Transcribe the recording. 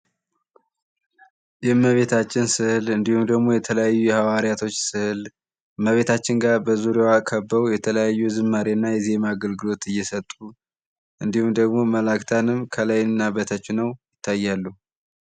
የእመቤታችን ስዕል የተለያዩ የሀዋርያቶች ስዕል እመቤታችን ጋር በዙርያዋ ከበው የተለያዩ ዝማሬና የዜማ አገልግሎት እየሰጡ እንዲሁም ደግሞ መላእክታንም ከላይና በታች ሆነው ይታያሉ።